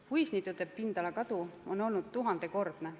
Puisniitude pindala kadu on olnud tuhandekordne.